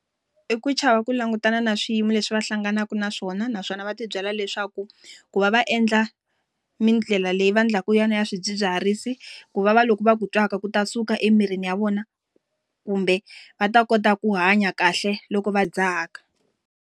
I ku chava ku langutana na swiyimo leswi va hlanganaka na swona, naswona va ti byela leswaku, ku va va endla tindlela leyi va endlaku yona ya swidzidziharisi, ku va va loko va ku twaka ku ta suka emirini ya vona. Kumbe va ta kota ku hanya kahle loko va dzaha .